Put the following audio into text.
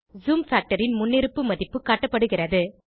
zoom factor ன் முன்னிருப்பு மதிப்பு காட்டப்படுகிறது